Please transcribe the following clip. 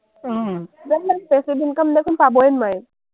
passive income দেখোন পাবয়ে নোৱাৰিম।